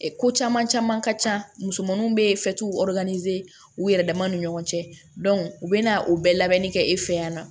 Ko caman caman ka ca musomanninw be u yɛrɛ dama ni ɲɔgɔn cɛ u bɛ na o bɛɛ labɛnni kɛ e fɛ yan nɔ